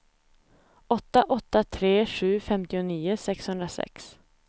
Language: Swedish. åtta åtta tre sju femtionio sexhundrasex